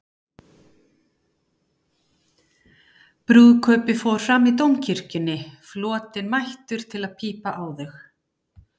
Brúðkaupið fór fram í Dómkirkjunni, flotinn mættur til að pípa á þau.